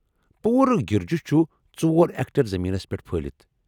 پوٗرٕ گِرجہِ چُھ ژور ایکٹر زمینس پٮ۪ٹھ پھہلتھ ۔